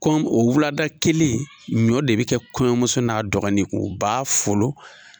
Kɔn o wulada kelen ɲɔ de bɛ kɛ kɔɲɔmuso n'a dɔgɔnin kun u b'a folo.